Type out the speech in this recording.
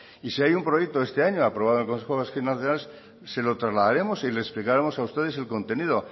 y si hay un proyecto este año aprobado por el consejo vasco de finanzas se lo trasladaremos y les explicaremos a ustedes el contenido